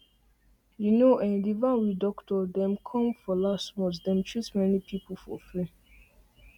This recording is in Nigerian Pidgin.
you know[um]the van with doctor dem came for last month dem treat many people dem for free